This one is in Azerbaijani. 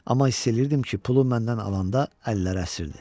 Amma hiss eləyirdim ki, pulu məndən alanda əlləri əsirdi.